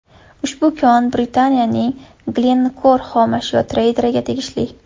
Ushbu kon Britaniyaning Glencore xomashyo treyderiga tegishli.